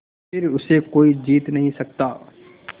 फिर उसे कोई जीत नहीं सकता